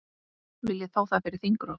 Viljið fá það fyrir þingrof?